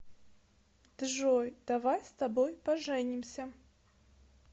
джой давай с тобой поженимся